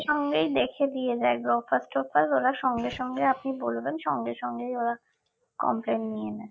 সঙ্গেই দেখে দিয়ে যায় গ্রফার্স টোফার্স ওরা সঙ্গে সঙ্গে আপনি বলবেন সঙ্গে সঙ্গেই ওরা complain নিয়ে নেয়